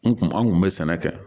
N kun an kun bɛ sɛnɛ kɛ